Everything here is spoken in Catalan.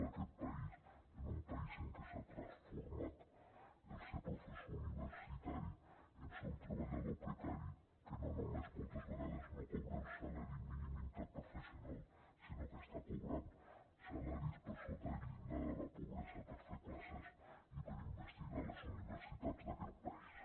d’aquest país un país en que s’ha transformat el ser professor universitari en ser un treballador precari que no només moltes vegades no cobra el salari mínim interprofessional sinó que està cobrant salaris per sota del llindar de la pobresa per fer classes i per investigar a les universitats d’aquest país